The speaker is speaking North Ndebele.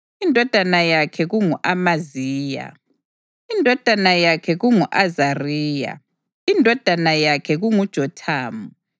indodana yakhe kungu-Amaziya, indodana yakhe kungu-Azariya, indodana yakhe kunguJothamu,